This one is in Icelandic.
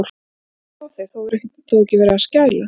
Hvað er eiginlega að sjá þig. þú hefur þó ekki verið að skæla!